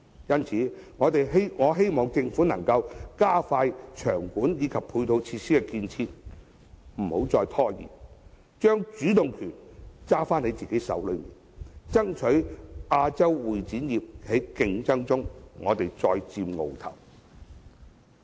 因此，我希望政府能加快場館及配套設施的建設，不要拖延，將主動權握在自己的手裏，爭取在亞洲會展業的競爭中再佔鰲頭。